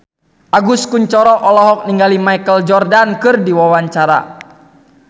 Agus Kuncoro olohok ningali Michael Jordan keur diwawancara